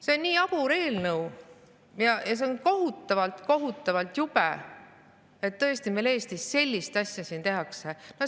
See on nii jabur eelnõu ja see on kohutavalt‑kohutavalt jube, et meil Eestis sellist asja tehakse.